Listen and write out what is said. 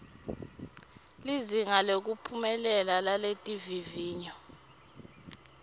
lizinga lekuphumelela laletivivinyo